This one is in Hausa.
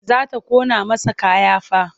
Za ta ƙona masa kaya fa.